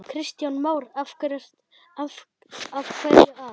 Kristján Már: Af hverju það?